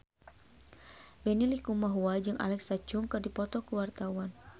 Benny Likumahua jeung Alexa Chung keur dipoto ku wartawan